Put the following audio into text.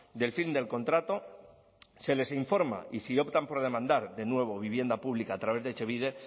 del fin del contrato se les informa y si optan por demandar de nuevo vivienda pública a través de etxebide